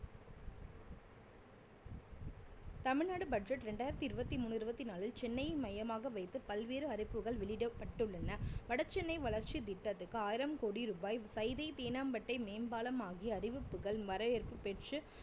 Tamil Nadu budget ரெண்டாயிரத்தி இருவத்தி மூணு இருவத்தி நாளில் சென்னையை மையமாக வைத்து பல்வேறு அறிவிப்புகள் வெளியிடப்பட்டுள்ளன வடசென்னை வளர்ச்சி திட்டத்துக்கு ஆயிரம் கோடி ரூபாய் சைதை தேனாம்பட்டை மேம்பாலம் ஆகிய அறிவிப்புகள் வரவேற்பு பெற்று